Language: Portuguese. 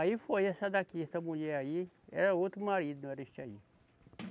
Aí foi essa daqui, essa mulher aí, era outro marido, não era este aí.